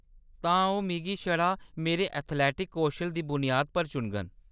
तां, ओह्‌‌ मिगी छड़ा मेरे एथलेटिक कौशल दी बुनियाद पर चुनङन ?